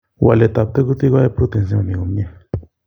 waletab tekutik koyie proteins chemomi komie.